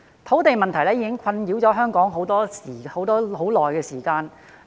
土地問題已經困擾香港多時。